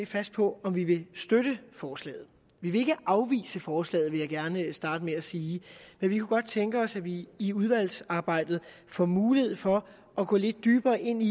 fast på om vi vil støtte forslaget vi vil ikke afvise forslaget vil jeg gerne sige men vi kunne godt tænke os at vi i udvalgsarbejdet får mulighed for at gå lidt dybere ind i